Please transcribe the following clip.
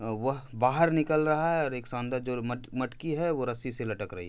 वह बाहर निकल रहा है और एक शानदार जोर मट- मटकी है वो रस्सी से लटक रही है।